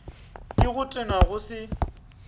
ke go tenwa go se